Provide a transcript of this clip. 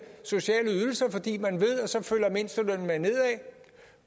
sociale ydelser fordi man ved at så følger mindstelønnen med nedad